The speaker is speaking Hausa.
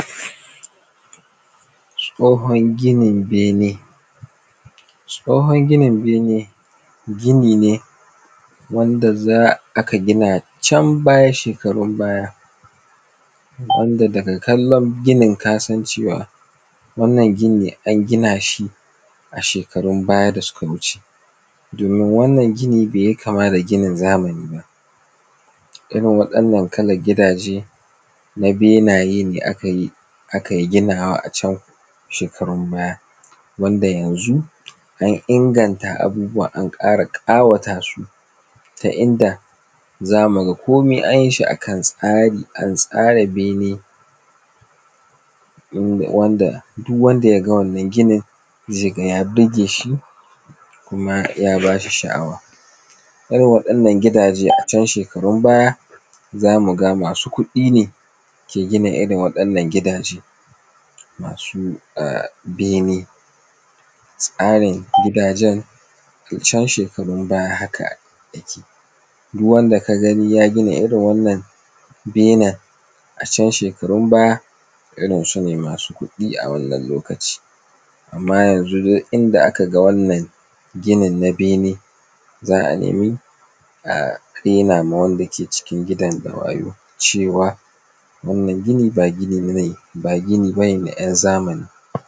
Tsohon gini bene. Tsohon ginin bene gini ne wanda aka gina can baya shekarun baya wanda daga kallon ginin kasan cewa wannan ginin an gina shi a shekarun baya da suka wuce, domin wannan ginin bai yi kama da ginin zamani ba. Irin waɗanna kalan gidaje na benaye ne ake gina shi a can shekarun baya wanda yanzu an inganta abubuwa, an ƙara ƙawata su ta inda za mu ga komai an yi shi a kan tsari, an tsara bene yadda duk wanda ya ga wannan ginin zai ga ya burge shi, kuma ya ba shi sha'awa. Irin waɗannan gidaje a can shekarun baya za mu ga masu kuɗi ne ke gina irin waɗannan gidaje masu bene. Tsarin gidajen a can shekarun baya haka yake. Duk wanda ka gani ya gina irin wannan bene a can shekarun baya, irin su ne masu kuɗi a wannan lokacin. Amma yanzu duk inda aka ga wannan ginin na bene za a nemi raina wa wanda ke cikin gidan da wayyo cewa wannan gini ba gini ba ne na ‘yan zamani.